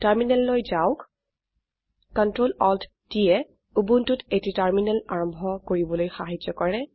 টাৰ্মিনাললৈ যাওক Ctrl Alt t য়ে উবুন্টুত এটি টাৰ্মিনাল আৰম্ভ কৰিবলৈ সাহায্য কৰে